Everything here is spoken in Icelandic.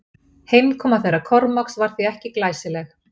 Heimkoma þeirra Kormáks var því ekki glæsileg.